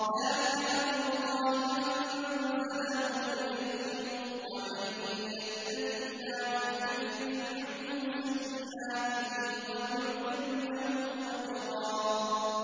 ذَٰلِكَ أَمْرُ اللَّهِ أَنزَلَهُ إِلَيْكُمْ ۚ وَمَن يَتَّقِ اللَّهَ يُكَفِّرْ عَنْهُ سَيِّئَاتِهِ وَيُعْظِمْ لَهُ أَجْرًا